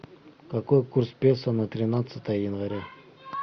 какой курс песо на тринадцатое января